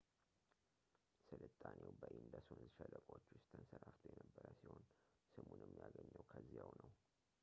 ስልጣኔው በኢንደስ ወንዝ ሸለቆዎች ውስጥ ተንሰራፍቶ የነበረ ሲሆን ስሙንም ያገኘው ከዚያው ነው